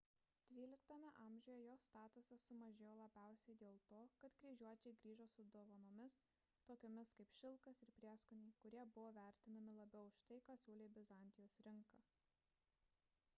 xii amžiuje jo statusas sumažėjo labiausiai dėl to kad kryžiuočiai grįžo su dovanomis tokiomis kaip šilkas ir prieskoniai kurie buvo vertinami labiau už tai ką siūlė bizantijos rinka